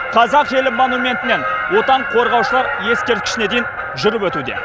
қазақ елі монументінен отан қорғаушылар ескерткішіне дейін жүріп өтуде